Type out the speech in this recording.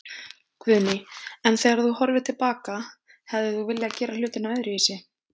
Guðný: En þegar þú horfir til baka, hefðir þú viljað gera hlutina öðruvísi?